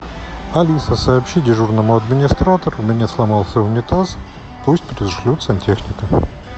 алиса сообщи дежурному администратору у меня сломался унитаз пусть пришлют сантехника